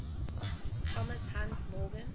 thomas hunt morgan